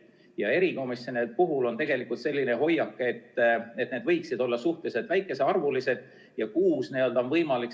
Ja erikomisjonide puhul on tegelikult selline hoiak, et need võiksid olla suhteliselt väikesearvulised ja kuus on võimalik.